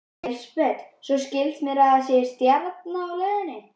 Elísabet: Svo skilst mér að það sé stjarna á leiðinni?